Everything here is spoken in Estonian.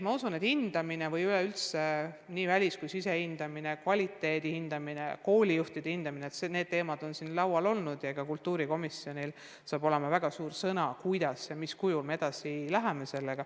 Ma usun, et hindamine – üleüldse nii välis- kui sisehindamine, nii õppe kvaliteedi hindamine kui ka koolijuhtide hindamine – on siin laual olnud ja kultuurikomisjonil saab olema väga otsustav sõna, kuidas, mis kujul me sellega edasi läheme.